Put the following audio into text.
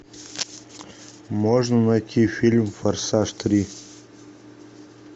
можно найти фильм форсаж три